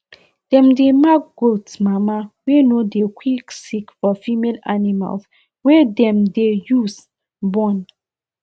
dem dey mark goat mama wey no dey quick sick for female animals wey dem dey use born